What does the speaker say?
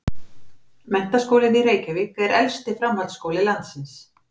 Menntaskólinn í Reykjavík er elsti framhaldsskóli landsins.